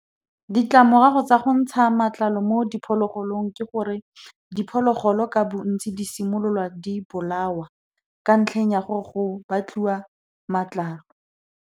Ditlamorago tsa go ntsha matlalo mo diphologolong ke gore, diphologolo ka bontsi di simololwa di bolawa, ka ntlheng ya gore go batliwa matlalo.